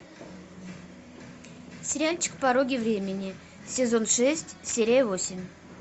сериальчик пороги времени сезон шесть серия восемь